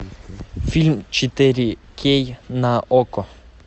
фильм четыре кей на окко